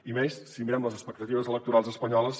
i menys si mirem les expectatives electorals espanyoles